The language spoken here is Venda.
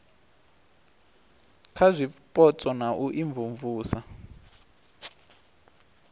kha zwipotso na u imvumvusa